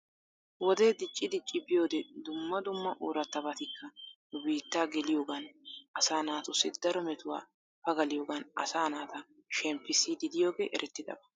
Wodee dicci dicci biyoode dumma dumma oorattabatikka nu biittaa geliyoogan asaa naatussi daro metuwa pagaliyogan asaa naata sheppissiiddi diyogee erettidaba .